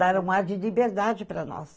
Dar um ar de liberdade para nós.